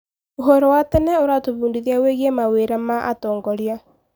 ũhoro wa tene ũratũbundithia wĩgiĩ mawĩra wa atongoria.